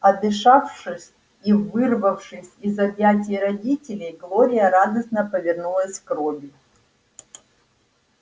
отдышавшись и вырвавшись из объятий родителей глория радостно повернулась к робби